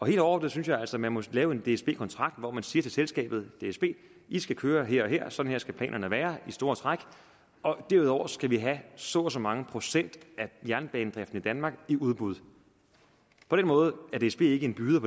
helt overordnet synes jeg altså at man må lave en dsb kontrakt hvor man siger til selskabet dsb i skal køre her og her sådan her skal planerne være i store træk og derudover skal vi have så og så mange procent af jernbanedriften i danmark i udbud på den måde er dsb ikke en byder